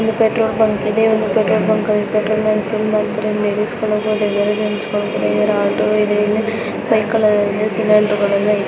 ಒಂದು petrol bunk ಇದೆ. Petrol bunk ಇಲ್ಲಿ ಪೆಟ್ರೋಲ್ ಹಾಕಿಸಿ ಕೊಳ್ಳಬಹುದು ಒಂದು ಆಟೋ ಇದೆ ಎಂದು ಬೈಕ್ ಇದೆ.